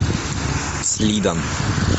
слидан